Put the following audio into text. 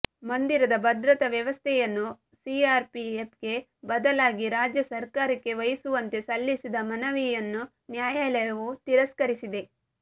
ಮಂದಿರದ ಭದ್ರತಾ ವ್ಯವಸ್ಥೆಂುುನ್ನು ಸಿಆರ್ಪಿಎಪ್ಗೆ ಬದಲಾಗಿ ರಾಜ್ಯ ಸರಕಾರಕ್ಕೆ ವಹಿಸುವಂತೆ ಸಲ್ಲಿಸಿದ ಮನವಿಂುುನ್ನು ನ್ಯಾಂುುಾಲಂುು ತಿರಸ್ಕರಿಸಿದೆ